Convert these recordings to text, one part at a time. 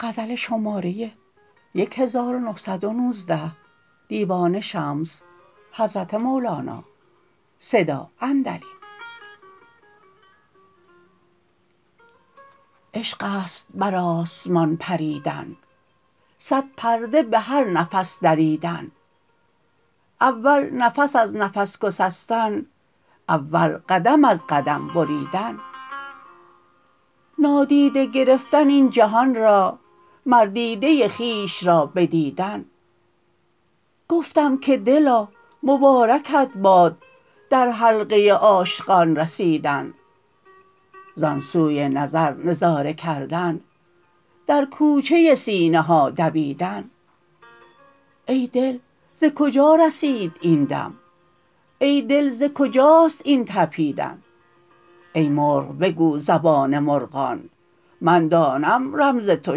عشق است بر آسمان پریدن صد پرده به هر نفس دریدن اول نفس از نفس گسستن اول قدم از قدم بریدن نادیده گرفتن این جهان را مر دیده خویش را بدیدن گفتم که دلا مبارکت باد در حلقه عاشقان رسیدن ز آن سوی نظر نظاره کردن در کوچه سینه ها دویدن ای دل ز کجا رسید این دم ای دل ز کجاست این طپیدن ای مرغ بگو زبان مرغان من دانم رمز تو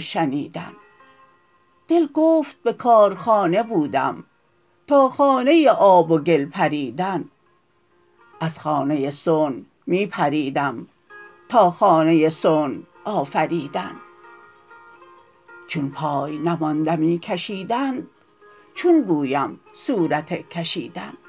شنیدن دل گفت به کار خانه بودم تا خانه آب و گل پریدن از خانه صنع می پریدم تا خانه صنع آفریدن چون پای نماند می کشیدند چون گویم صورت کشیدن